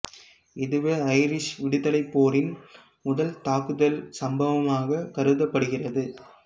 இதுவே ஐரிஷ் விடுதைலைப் போரின் முதல் தாக்குதல் சம்பவமாகக் கருதப்படுகிறது